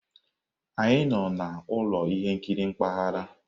Anyị nọ na ụlọ ihe nkiri mpaghara.